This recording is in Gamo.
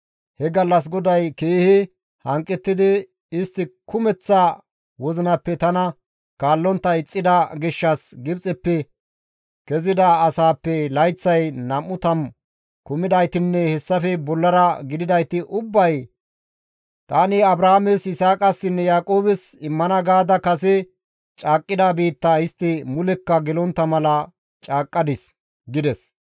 He gallas GODAY keehi hanqettidi, ‹Istti kumeththa wozinappe tana kaallontta ixxida gishshas Gibxeppe kezida asaappe layththay nam7u tammu kumidaytinne hessafe bollara gididayti ubbay tani Abrahaames, Yisaaqassinne Yaaqoobes immana gaada kase caaqqida biittaa istti mulekka gelontta mala caaqqadis› gides.